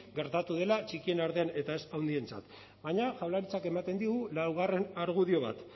gertatu dela txikien artean eta ez handientzat baina jaurlaritzak ematen digu laugarren argudio bat